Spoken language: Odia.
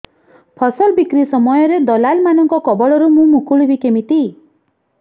ଫସଲ ବିକ୍ରୀ ସମୟରେ ଦଲାଲ୍ ମାନଙ୍କ କବଳରୁ ମୁଁ ମୁକୁଳିଵି କେମିତି